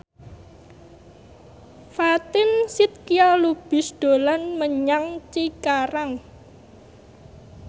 Fatin Shidqia Lubis dolan menyang Cikarang